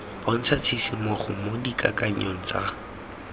bontsha tshisimogo mo dikakanyong tsa